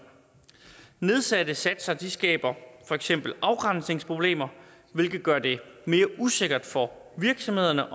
nedsatte satser skaber for eksempel afgrænsningsproblemer hvilket gør det mere usikkert for virksomhederne